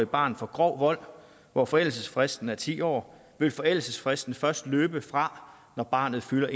barn for grov vold hvor forældelsesfristen er ti år vil forældelsesfristen først løbe fra når barnet fylder